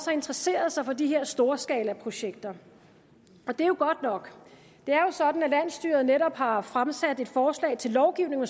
har interesseret sig for de her storskalaprojekter det er jo godt nok det er jo sådan at landsstyret netop har fremsat et forslag til lovgivning